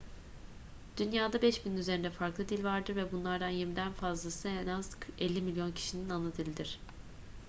dünya'da 5.000'in üzerinde farklı dil vardır ve bunlardan yirmiden fazlası en az 50 milyon kişinin anadilidir